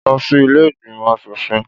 Lọ sí ilé ìgbìmọ̀ aṣòfin.